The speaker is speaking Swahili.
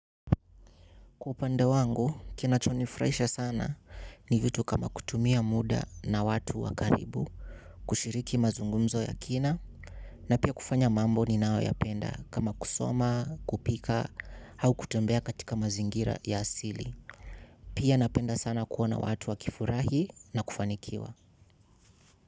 Kwa upande wangu, kinachonifraisha sana ni vitu kama kutumia muda na watu wakaribu, kushiriki mazungumzo ya kina, na pia kufanya mambo ni nao ya penda kama kusoma, kupika, au kutembea katika mazingira ya asili. Pia napenda sana kuona watu wakifurahi na kufanikiwa.